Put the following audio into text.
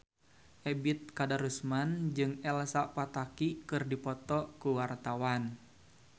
Ebet Kadarusman jeung Elsa Pataky keur dipoto ku wartawan